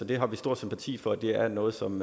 det har vi stor sympati for og det er noget som